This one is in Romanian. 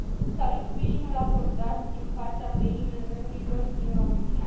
Salut sprijinul acordat din partea BEI IMM urilor din România.